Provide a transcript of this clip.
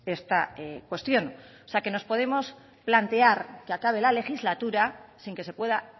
esta cuestión o sea que nos podemos plantear que acabe la legislatura sin que se pueda